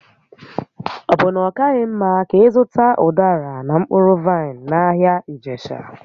Ọ bụ na ọ kaghị mma ka ị zụta ụdara na mkpụrụ vaịn n'ahịa Ijesha?